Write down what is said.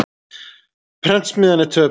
Prentsmiðjan er töpuð.